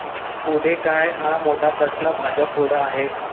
मग पुढे काय, हा मोठा प्रश्न भाजपपुढं आहे.